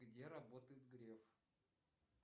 где работает греф